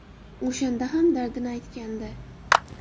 O‘shanda ham dardini aytgandi.